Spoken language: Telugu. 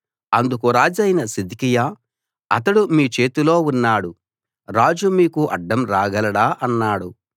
అందుకు రాజైన సిద్కియా అతడు మీ చేతిలో ఉన్నాడు రాజు మీకు అడ్డం రాగలడా అన్నాడు